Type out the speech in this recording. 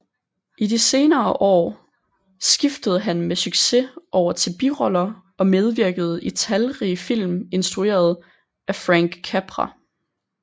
I de senere år skiftede han med succes over til biroller og medvirkede i talrige film instrueret af Frank Capra